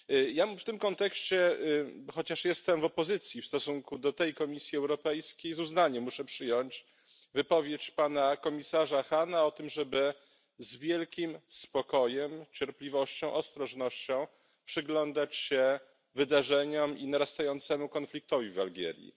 Ja w tym kontekście chociaż jestem w opozycji w stosunku do tej Komisji Europejskiej z uznaniem muszę przyjąć wypowiedź pana komisarza Hahna o tym, żeby z wielkim spokojem, cierpliwością, ostrożnością przyglądać się wydarzeniom i narastającemu konfliktowi w Algierii.